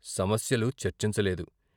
సమస్యలు చర్చించలేదు.